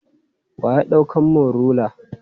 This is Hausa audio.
Wa ya ɗaukan mun rula?